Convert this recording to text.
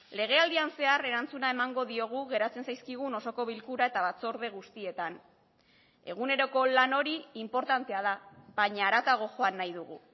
legealdian zehar erantzuna emango diogu geratzen zaizkigun osoko bilkura eta batzorde guztietan eguneroko lan hori inportantea da baina haratago joan nahi dugu